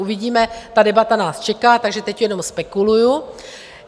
Uvidíme, ta debata nás čeká, takže teď jenom spekuluji.